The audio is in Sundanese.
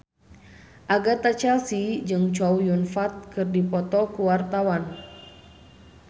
Agatha Chelsea jeung Chow Yun Fat keur dipoto ku wartawan